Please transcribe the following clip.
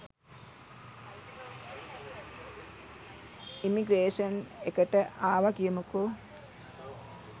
Immigration එකට ආව කියමුකො.